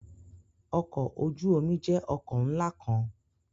Ọkọ oju omi jẹ ọkọ nla kan